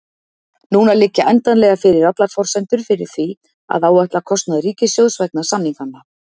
Núna liggja endanlega fyrir allar forsendur fyrir því að áætla kostnað ríkissjóðs vegna samninganna.